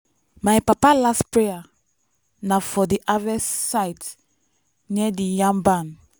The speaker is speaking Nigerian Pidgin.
my papa last prayer na for di harvest site near di yam barn.